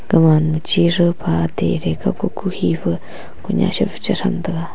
kaman chiru pha te re ka kuku hifa ku nya chifang tega.